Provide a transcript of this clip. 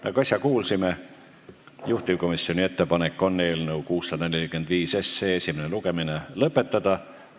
Nagu äsja kuulsime, juhtivkomisjoni ettepanek on eelnõu 645 SE esimene lugemine lõpetada.